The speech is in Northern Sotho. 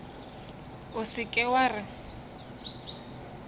o se ke wa re